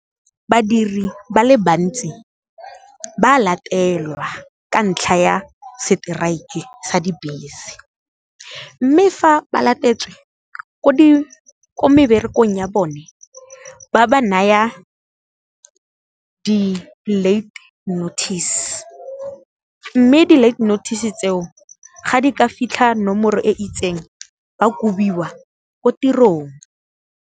Badiri ba le bantsi ba latelwa ka ntlha ya strike sa dibese, mme fa ba latetswe ko meberekong ya bone ba ba naya di-late notice, mme di-late notice tseo ga di ka fitlha nomoro e itseng ba kobiwa ko tirong.